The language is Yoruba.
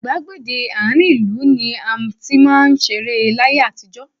Gbàgede àárín ìlú ni a ti máa ń ṣeré láyé àtijọ́.